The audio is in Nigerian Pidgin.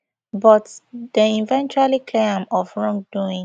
but dem eventually clear am of wrongdoing